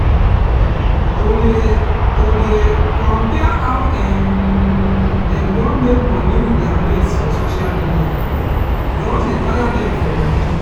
to dey to dey compare how um dem don make money with their mates for social media just dey tire dem for body.